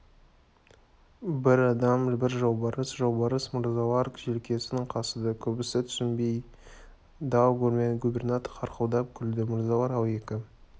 бір адам бір жолбарыс жолбарыс мырзалар желкесін қасыды көбісі түсінбей дал губернатор қарқылдап күлді мырзалар-ау екі